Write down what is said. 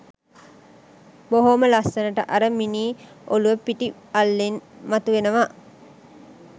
බොහොම ලස්සනට අර මිනී ඔළුව පිටි අල්ලෙන් මතුවෙනවා